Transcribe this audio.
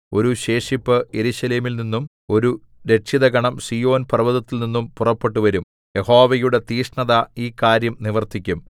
ഒരു ശേഷിപ്പ് യെരൂശലേമിൽ നിന്നും ഒരു രക്ഷിതഗണം സീയോൻ പർവ്വതത്തിൽനിന്നും പുറപ്പെട്ടുവരും യഹോവയുടെ തീക്ഷ്ണത ഈ കാര്യം നിവർത്തിക്കും